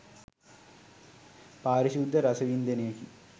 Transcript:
පාරිශුද්ධ රස වින්දනයකි.